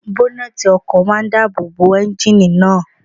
Bọ́nẹ̀tì ọkọ̀ máa n dáàbò bo éúnjínì náà